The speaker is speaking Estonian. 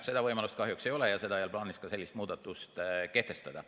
Seda võimalust kahjuks ei ole ega ole plaanis ka sellist muudatust kehtestada.